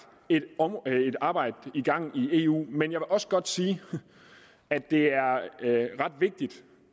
et arbejde i gang i eu men jeg vil også godt sige at det er ret vigtigt